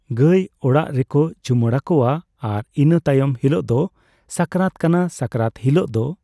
ᱜᱟᱹᱭ ᱚᱲᱟᱜ ᱨᱮᱠᱚ ᱪᱩᱢᱟᱹᱲᱟ ᱠᱚᱣᱟ ᱟᱨ ᱤᱱᱹ ᱛᱟᱭᱚᱢ ᱦᱤᱞᱳᱜ ᱫᱚ ᱥᱟᱠᱨᱟᱛ ᱠᱟᱱᱟ ᱥᱟᱠᱨᱟᱛ ᱦᱤᱞᱳᱜ ᱫᱚ